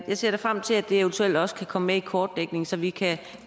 jeg ser da frem til at det eventuelt også kan komme med i kortlægningen så vi kan